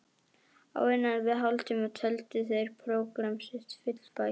Á innan við hálftíma töldu þeir prógramm sitt fullæft.